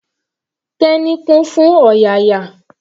Teni kún fún ọ̀yàyà.